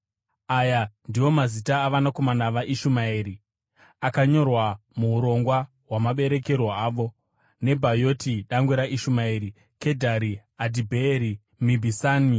Aya ndiwo mazita avanakomana vaIshumaeri, akanyorwa muurongwa hwamaberekerwo avo: Nebhayoti dangwe raIshumaeri, Kedhari, Adhibheeri, Mibhisami,